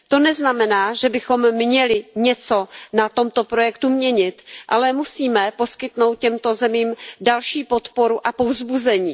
To neznamená, že bychom měli něco na tomto projektu měnit, ale musíme poskytnout těmto zemím další podporu a povzbuzení.